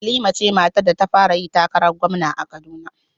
Halima ce matar da ta fara yin takarar gwamna a Kaduna